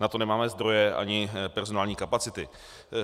Na to nemáme zdroje ani personální kapacity.